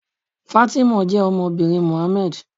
Fátímọ̀ jẹ́ ọmọbìnrin Mohammed.